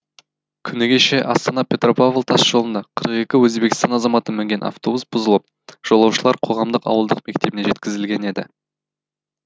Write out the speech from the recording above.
күні кеше астана петропавл тасжолынан қырық екі өзбекстан азаматы мінген автобус бұзылып жолаушылар қоғамдық ауылдық мектебіне жеткізілген еді